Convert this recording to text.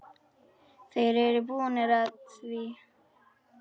Þeir eru búnir að því.